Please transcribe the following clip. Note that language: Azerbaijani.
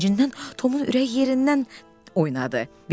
Sevincindən Tomun ürəyi yerindən oynadı.